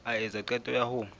a etsa qeto ya ho